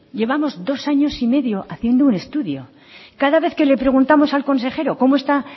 llevamos dos años y medio haciendo un estudio cada vez que le preguntamos al consejero